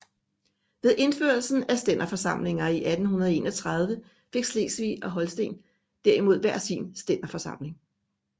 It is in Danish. Ved indførelsen af stænderforsamlinger i 1831 fik Slesvig og Holsten derimod hver sin stænderforsamling